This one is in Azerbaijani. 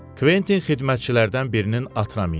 Kventin xidmətçilərdən birinin atına mindi.